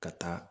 Ka taa